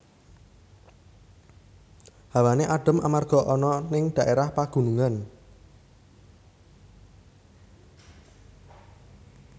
Hawane adhem amarga ana ning daérah pagunungan